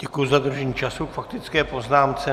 Děkuji za dodržení času k faktické poznámce.